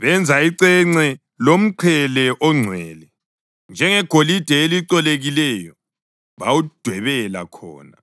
Benza icence lomqhele ongcwele ngegolide elicolekileyo bawudwebela khona